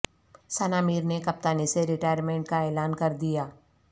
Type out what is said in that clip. ثنا میر نے کپتانی سے ریٹائرمنٹ کا اعلان کردیا